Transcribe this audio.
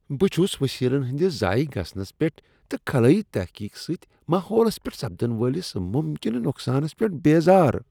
بہٕ چھس وسیلن ہندس ضایع گژھنس پیٹھ تہٕ خلٲیی تحقیق سۭتۍ ماحولس پیٹھ سپدن والس ممکنہٕ نقصانس پیٹھ بیزار۔